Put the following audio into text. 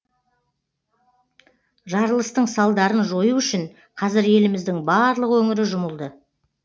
жарылыстың салдарын жою үшін қазір еліміздің барлық өңірі жұмылды